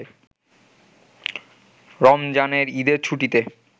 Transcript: “রমজানের ঈদের ছুটিতে